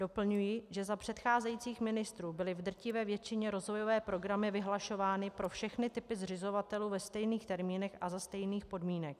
Doplňuji, že za předcházejících ministrů byly v drtivé většině rozvojové programy vyhlašovány pro všechny typy zřizovatelů ve stejných termínech a za stejných podmínek.